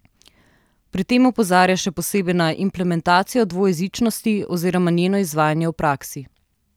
Pri tem opozarja še posebej na implementacijo dvojezičnosti oziroma njeno izvajanje v praksi.